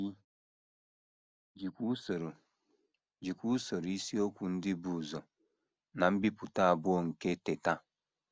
E jikwa usoro jikwa usoro isiokwu ndị bu ụzọ ná mbipụta abụọ nke Teta!